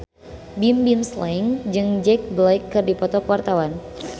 Bimbim Slank jeung Jack Black keur dipoto ku wartawan